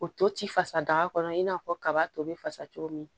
O to ti fasa daga kɔnɔ i n'a fɔ kaba to bɛ fasa cogo min